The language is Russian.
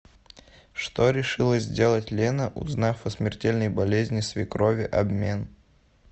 что решила сделать лена узнав о смертельной болезни свекрови обмен